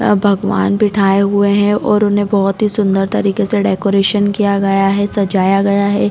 अ भगवन बिठाए हुए है और उन्हैं बोहत ही सुन्दर तरीके से डेकोरेशन किया गया है सजाया गया है।